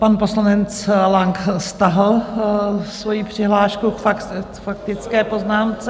Pan poslanec Lang stáhl svoji přihlášku k faktické poznámce.